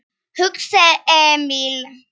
hugsaði Emil.